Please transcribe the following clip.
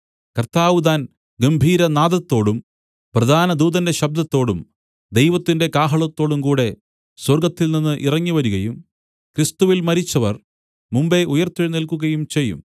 കർത്താവ് താൻ ഗംഭീരനാദത്തോടും പ്രധാനദൂതന്റെ ശബ്ദത്തോടും ദൈവത്തിന്റെ കാഹളത്തോടുംകൂടെ സ്വർഗ്ഗത്തിൽനിന്ന് ഇറങ്ങിവരികയും ക്രിസ്തുവിൽ മരിച്ചവർ മുമ്പെ ഉയിർത്തെഴുന്നേൽക്കുകയും ചെയ്യും